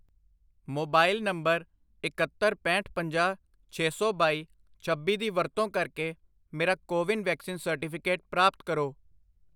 mobile number ਇਕਹੱਤਰ, ਪੈਂਹਠ, ਪੰਜਾਹ, ਛੇ ਸੌ ਬਾਈ, ਛੱਬੀ ਦੀ ਵਰਤੋਂ ਕਰਕੇ ਮੇਰਾ ਕੋਵਿਨ ਵੈਕਸੀਨ ਸਰਟੀਫਿਕੇਟ ਪ੍ਰਾਪਤ ਕਰੋ